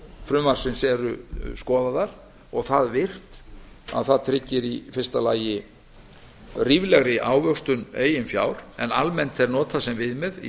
frumvarpsins eru skoðaðar og það virt að það tryggir í fyrsta lagi ríflegri ávöxtun eigin fjár en almennt er notað sem viðmið í